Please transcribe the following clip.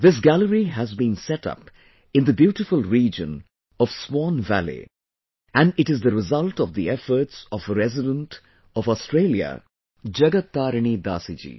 This gallery has been set up in the beautiful region of Swan Valley and it is the result of the efforts of a resident of Australia Jagat Tarini Dasi ji